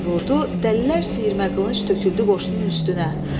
Hay vurdu, dəlilər siyirmə qılınc töküldü qoşunun üstünə.